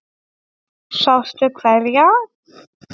Sástu hverja?